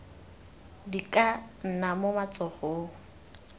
di ka nna mo matsogong